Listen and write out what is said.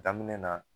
Daminɛ na